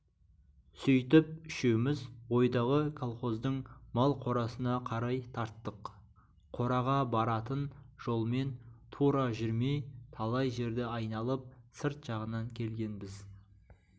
сөйтіп үшеуміз ойдағы колхоздың мал қорасына қарай тарттық қораға баратын жолмен тура жүрмей талай жерді айналып сырт жағынан келгенбіз